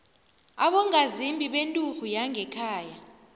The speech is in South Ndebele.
abongazimbi benturhu yangekhaya